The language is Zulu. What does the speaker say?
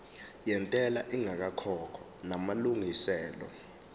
yentela ingakakhokhwa namalungiselo